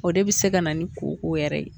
O de bi se ka na ni koko yɛrɛ ye